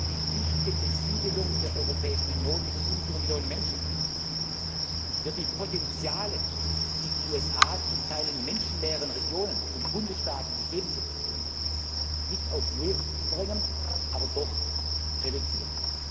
die dichte Besiedlung der Europäischen Union mit 500 Millionen Menschen wird die Potenziale, die in den USA in zum Teil menschenleeren Regionen und Bundesstaaten gegeben sind, nicht auf null verringern, aber doch reduzieren.